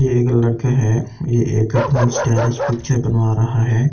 ये एक लड़का है ये एक अपनी स्टाइलिस पिक्चर बनवा रहा है।